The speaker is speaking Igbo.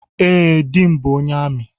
Ee, di m bụ ónyé amị